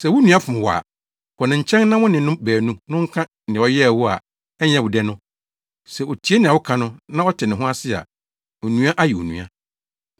“Sɛ wo nua fom wo a, kɔ ne nkyɛn na wo ne no baanu no nka nea ɔyɛɛ wo a ɛnyɛ wo dɛ no. Sɛ otie nea woka no, na ɔte ne ho ase a, onua ayɛ onua.